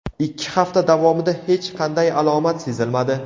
Ikki hafta davomida hech qanday alomat sezilmadi.